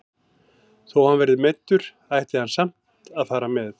Þó hann verði meiddur ætti hann samt að fara með.